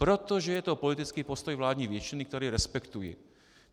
Protože je to politický postoj vládní většiny, který respektuji.